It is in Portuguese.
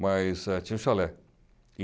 Mas eh tinha o chalé.